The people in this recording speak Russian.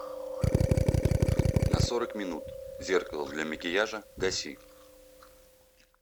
на сорок минут зеркало для макияжа гаси